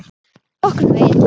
Nokkurn veginn.